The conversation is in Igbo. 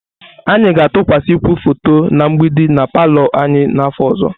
Anyị ga-atụkwasịkwu foto na mgbidi na palọ anyị n'afọ ọzọ.